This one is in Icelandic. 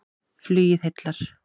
Flugið heillar